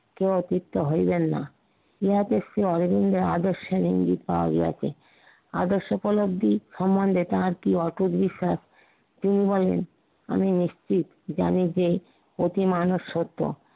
কেউ অতিষ্ঠ হইবেন না। ইহা দেখছি অরবিন্দের আদর্শের ইঙ্গিত পাওয়া গিয়াছে আদর্শপোদব্ধি সমন্ধে তার কি অটুট বিশ্বাস তিনি বলেন, আমি নিশ্চিত জানি যে অতি মানুষ সত্য তা